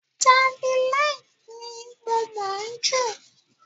Javeline ni mo mọ̀ ọ́ jù.